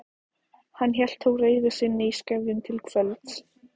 Hann hélt þó reiði sinni í skefjum til kvölds.